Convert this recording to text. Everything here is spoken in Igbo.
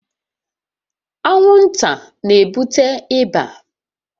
Anwụnta na-ebute ịba